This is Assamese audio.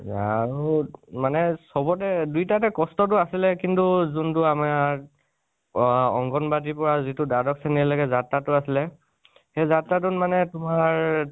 যাহওঁক মানে চবতে, দুই তাতে কষ্টোটো আছিলে কিন্তু , যোন টো আমাৰ আ অংগণবাদিৰ পৰা দ্বাদশ শ্ৰণীলৈকে যাত্ৰা টো আছিলে, সেই যাত্ৰা টোত মানে তোমাৰ